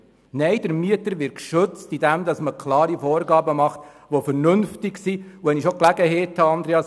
Nein, der Mieter wird geschützt, indem man klare und vernünftige Vorgaben macht.